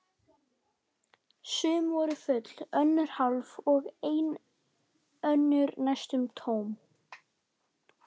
Sum voru full, önnur hálf og enn önnur næstum tóm.